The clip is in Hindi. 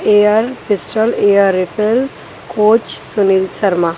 air pistol air rifle coach Sunil Sharma--